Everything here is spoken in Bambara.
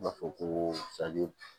U b'a fɔ ko